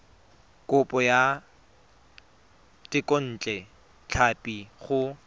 kopo ya thekontle tlhapi go